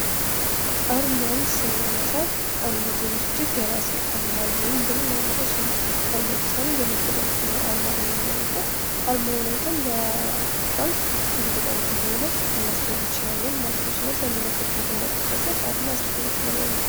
አርማን ስናነሳ አንድ ድርጅት የራሴ አርማ አለኝ ብሎ ሊያነሳ ይችላል አሁን ለምሳሌ የንግድ ባንክን አርማ ብንመለከት አንድ ድርጅት የራሴ አርማ አለኝ ብሎ ሊያነሳ ይችላል አሁን ለምሳሌ የንግድ ባንክን አርማ ምንመለከት አርማውን አይተን ይህ ባንክ ንግድ ባንክ ነው። ልናስተውል እንችላለን ማለት ነው። ስለዚህ አንድ ነገር እንድናቅ በጣም አስፈላጊ ነገር ነው።